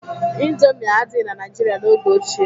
Indomie adịghị na Naijiria n'oge ochie.